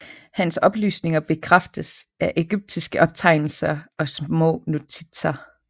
Hans oplysninger bekræftes af egyptiske optegnelser og smånotitser